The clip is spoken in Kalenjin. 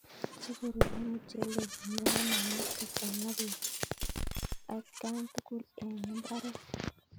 Si korurio muchelek komie ko magat kochang peek at kan tugul eng imbaret